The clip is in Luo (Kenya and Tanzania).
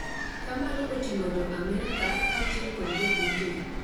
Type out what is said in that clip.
ka mano oting'o Jo-Amerika kaachiel kod Jo-Britain,